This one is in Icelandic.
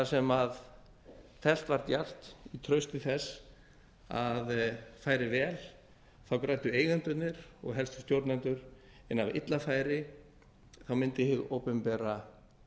sem teflt var djarft í trausti þess að færi vel græddu eigendurnir og helstu stjórnendur en ef illa færi mundi hið opinbera